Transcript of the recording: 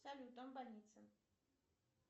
салют там больница